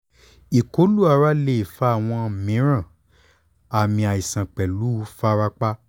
ikolu ara le fa awọn miiran aami aisan pẹlu farapa